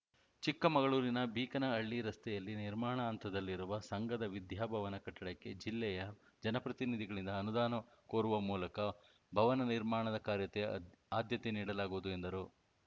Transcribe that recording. ಚಿಕ್ಕಮಗಳೂರಿನ ಬೀಕನಹಳ್ಳಿ ರಸ್ತೆಯಲ್ಲಿ ನಿರ್ಮಾಣ ಹಂತದಲ್ಲಿರುವ ಸಂಘದ ವಿದ್ಯಾಭವನ ಕಟ್ಟಡಕ್ಕೆ ಜಿಲ್ಲೆಯ ಜನಪ್ರತಿನಿಧಿಗಳಿಂದ ಅನುದಾನ ಕೋರುವ ಮೂಲಕ ಭವನ ನಿರ್ಮಾಣದ ಕಾರ್ಯತೆ ಆದ್ಯತೆ ನೀಡಲಾಗುವುದು ಎಂದರು